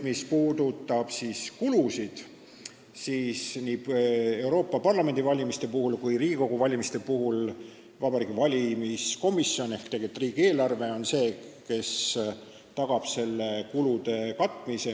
Mis puudutab kulusid, siis nii Euroopa Parlamendi valimisel kui ka Riigikogu valimisel on Vabariigi Valimiskomisjon ehk tegelikult riigieelarve see, mis tagab kulude katmise.